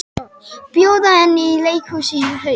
Bjóða henni í leikhús í haust.